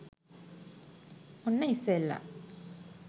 ඔන්න ඉස්සෙල්ල